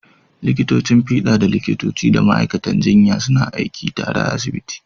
Likitocin fiɗa da likitoci da ma’aikatan jinya suna aiki tare a asibitoci.